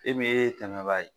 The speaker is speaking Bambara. E min ye tɛmɛbaa ye,